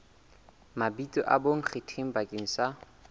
mabitso a bonkgetheng bakeng sa